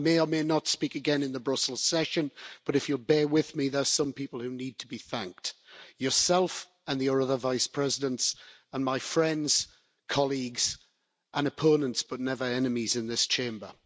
I may or may not speak again in the Brussels session but if you'll bear with me, there's some people who need to be thanked yourself and the other Vice Presidents, and my friends, colleagues and opponents but never enemies, in this Chamber.